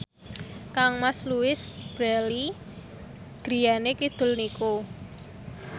kangmas Louise Brealey griyane kidul niku